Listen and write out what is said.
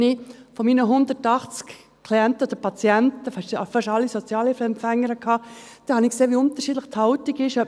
Wenn ich an meine 180 Klienten oder Patienten denke, die ich gehabt habe – fast alles Sozialhilfeempfänger –, sehe ich, wie unterschiedlich die Haltung ist: